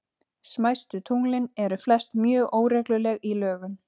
Smæstu tunglin eru flest mjög óregluleg í lögun.